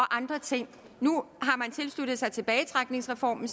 andre ting nu har man tilsluttet sig tilbagetrækningsreformen